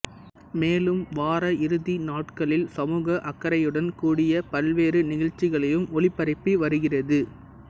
மேலும் வார இறுதி நாட்களில் சமூக அக்கறையுடன் கூடிய பல்வேறு நிகழ்ச்சிகளையும் ஒளிபரப்பி வருகிறது